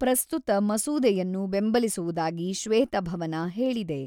ಪ್ರಸ್ತುತ ಮಸೂದೆಯನ್ನು ಬೆಂಬಲಿಸುವುದಾಗಿ ಶ್ವೇತಭವನ ಹೇಳಿದೆ.